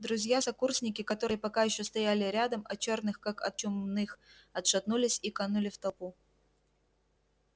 друзья-сокурсники которые пока ещё стояли рядом от чёрных как от чумных отшатнулись и канули в толпу